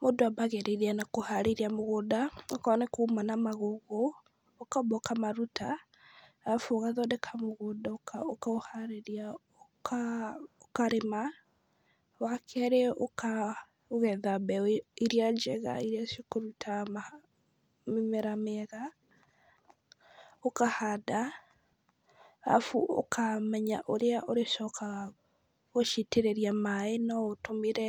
Mũndũ abagĩrĩria na kũharĩrĩria mũgũnda, okorwo nĩ kuma na magũgũ ũkamba ũkamaruta, arabu ũgathondeka mũgũnda ũkaũharĩria , ũkarĩma, wa kerĩ ũka ũgetha mbegũ iria njega, iria cikũruta mĩmera mĩega, ũkahanda, arabu ũkamenya ũrĩa ũrĩcokaga gũcitĩrĩria maaĩ, no ũtũmĩre